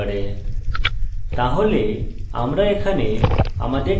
command রেখা ব্যবহার করা প্রথম ব্যবহারকারীদের জন্য কঠিন হতে পারে